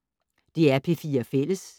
DR P4 Fælles